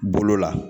Bolo la